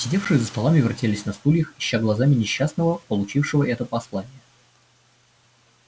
сидевшие за столами вертелись на стульях ища глазами несчастного получившего это послание